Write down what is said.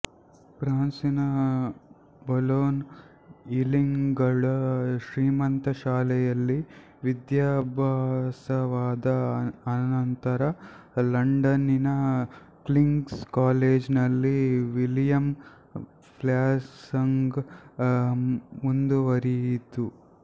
ಫ್ರಾನ್ಸಿನ Boulogne ಈಲಿಂಗ್ಗಳ ಶ್ರೀಮಂತ ಶಾಲೆಗಳಲ್ಲಿ ವಿಧ್ಯಾಭ್ಯಾಸವಾದ ಅನಂತರ ಲಂಡನಿನ ಕಿಂಗ್್ಸ ಕಾಲೇಜಿನಲ್ಲಿ ವಿಲಿಯಂ ವ್ಯಾಸಂಗ ಮುಂದುವರಿಯಿತು